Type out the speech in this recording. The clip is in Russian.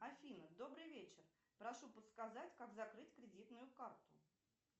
афина добрый вечер прошу подсказать как закрыть кредитную карту